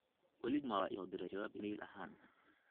wali juma wa isoo diray jawaab iimayl ahaan